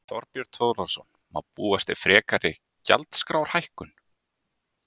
Þorbjörn Þórðarson: Má búast við frekari gjaldskrárhækkun?